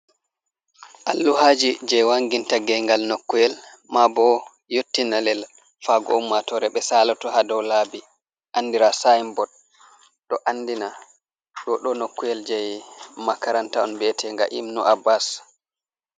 Alluhaji je wanginta gengal nokuwel ma bo yottina lela fago ummatore ɓe salato ha dow laabi andira sin-bod, ɗo andina dou do nokuwel je makaranta on bee tega imnu abas.